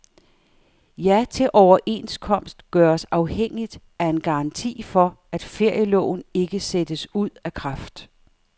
Ja til overenskomst gøres afhængigt af en garanti for, at ferieloven ikke sættes ud af kraft.